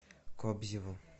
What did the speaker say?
кобзеву